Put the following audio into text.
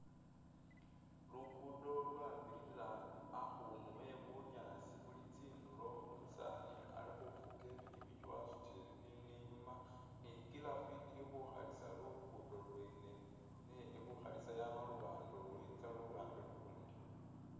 Lukudo lwabirila hakundu he bunyaasi buli tsindulo umusani alikhufuga ipikipiki wasutile bibindu inyuma ni giraffe ili khu kalisa lugudo lwene neli khu khalisa yama luwande lu itsa luwande lulundi.